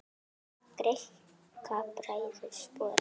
Greikka bræður sporið.